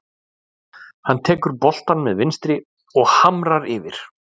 Hann tekur boltann með vinstri og hamrar yfir.